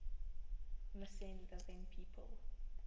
missing living people